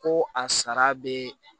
Ko a sara bɛ